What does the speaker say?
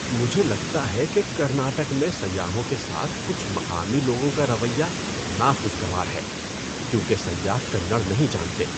مجھے لگتا ہے کہ کرناٹک میں سیاحوں کے ساتھ کچھ مقامی لوگوں کا رویہ ناخوشگوار ہے کیونکہ سیاح کنڑ نہیں جانتے۔